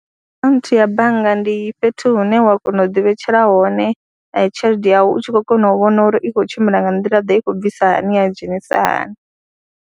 Kha akhaunthu ya bannga ndi fhethu hune wa kona u ḓivhetshela hone tshelede yau u tshi khou kona u vhona uri i khou tshimbila nga nḓilaḓe, i khou bvisa hani ya dzhenisa hani.